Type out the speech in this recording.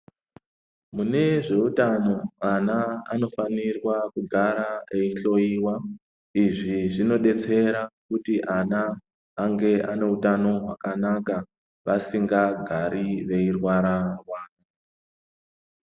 Mune zveuta ana anofanirwa kugara veihloyiwa. Izvi zvinodetsera kuti vana vange vane utano hwakanaka vasingagari veirwara.